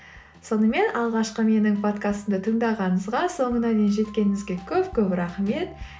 сонымен алғашқы менің подкастымды тыңдағыныңызға соңына дейін жеткеніңізге көп көп рахмет